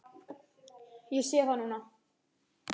Ég sé það núna.